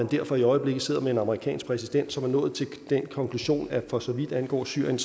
derfor i øjeblikket sidder med en amerikansk præsident som er nået til den konklusion at for så vidt angår syrien